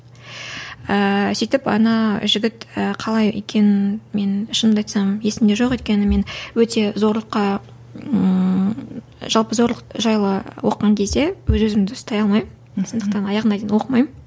ыыы сөйтіп ана жігіт қалай екенін мен шынымды айтсам есімде жоқ өйткені мен өте зорлыққа ыыы жалпы зорлық жайлы оқыған кезде өз өзімді ұстай алмаймын сондықтан аяғына дейін оқымаймын